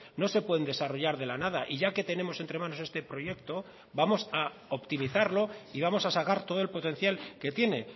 no se pueden desarrollar de la nada y ya que tenemos entre manos este proyecto vamos a optimizarlo y vamos a sacar todo el potencial que tiene